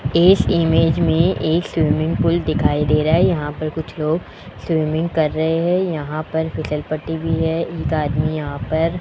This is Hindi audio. इस इमेज में एक स्विमिंग पूल दिखाई दे रहा है यहां पर कुछ लोग स्विमिंग कर रहे हैं यहां पर फिसल पट्टी भी है एक आदमी यहां पर --